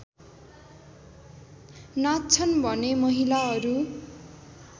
नाच्छन् भने महिलाहरू